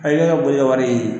ka boli ka wari ye